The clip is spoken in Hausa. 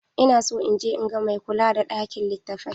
Ina so in je in ga mai kula da ɗakin litattafai.